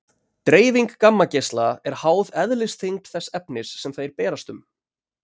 Dreifing gammageisla er háð eðlisþyngd þess efnis sem þeir berast um.